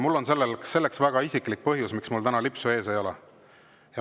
Mul on selleks väga isiklik põhjus, miks mul täna lipsu ees ei ole.